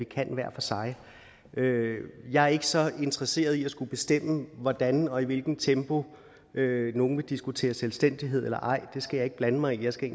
kan hver for sig jeg er ikke så interesseret i at skulle bestemme hvordan og i hvilket tempo nogle vil diskutere selvstændighed eller ej det skal jeg ikke blande mig i jeg skal